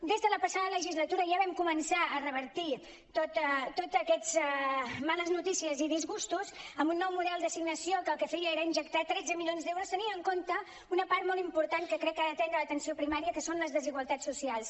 des de la passada legislatura ja vam començar a revertir totes aquestes males notícies i disgustos amb un nou model d’assignació que el que feia era injectar tretze milions d’euros tenint en compte una part molt important que crec que ha d’atendre l’atenció primària que són les desigualtats socials